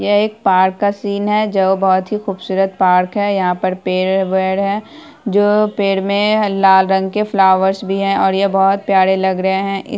यह एक पार्क का सीन है जो बहुत ही ख़ूबसूरत पार्क है। यहाँ पर पेड़-वेड़ है जो पेड़ में लाल रंग के फ्लावर्स भी हैं और यह बहुत प्यारे लग रहे हैं।